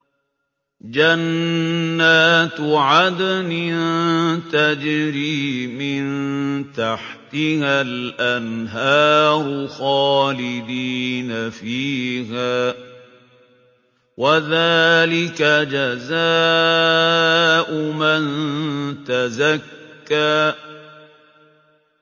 جَنَّاتُ عَدْنٍ تَجْرِي مِن تَحْتِهَا الْأَنْهَارُ خَالِدِينَ فِيهَا ۚ وَذَٰلِكَ جَزَاءُ مَن تَزَكَّىٰ